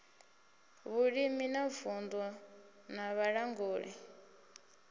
vhulimi wa vunddu na vhalanguli